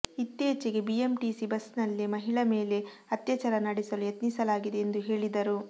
ಇತ್ತೀಚೆಗೆ ಬಿಎಂಟಿಸಿ ಬಸ್ನಲ್ಲೇ ಮಹಿಳೆ ಮೇಲೆ ಅತ್ಯಾಚಾರ ನಡೆಸಲು ಯತ್ನಿಸಲಾಗಿದೆ ಎಂದು ಹೇಳಿದರು